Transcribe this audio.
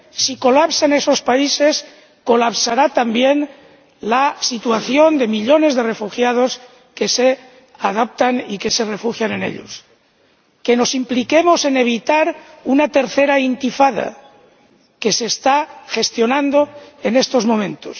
Si se produce un colapso en esos países, se colapsará también la situación de millones de refugiados que se adaptan y se refugian en ellos. Que nos impliquemos en evitar la tercera Intifada que se está gestionando en estos momentos.